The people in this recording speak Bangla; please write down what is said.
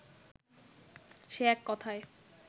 সে এক কথায়